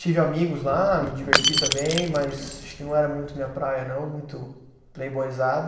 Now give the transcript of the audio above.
Tive amigos lá, me diverti também, mas acho que não era muito minha praia não, muito playboysada.